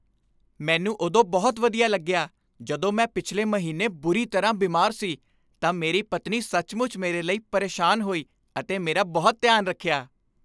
ਮੈਨੂੰ ਉਦੋਂ ਬਹੁਤ ਵਧੀਆ ਲੱਗਿਆ ਜਦੋਂ ਮੈਂ ਪਿਛਲੇ ਮਹੀਨੇ ਬੁਰੀ ਤਰ੍ਹਾਂ ਬਿਮਾਰ ਸੀ ਤਾਂ ਮੇਰੀ ਪਤਨੀ ਸੱਚਮੁੱਚ ਮੇਰੇ ਲਈ ਪਰੇਸ਼ਾਨ ਹੋਈ ਅਤੇ ਮੇਰਾ ਬਹੁਤ ਧਿਆਨ ਰੱਖਿਆ।